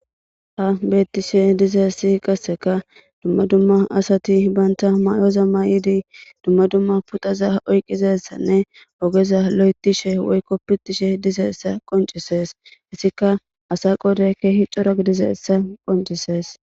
Ha betishe dizayisi qasseka duma duma assati banitta mayoza mayiddi duma duma puxxaza oyidisa ogeza oyitishe woyiko pitishe dizayisa qoncisesi hesika assati qoddayika kehi corra giddesi qoncisesi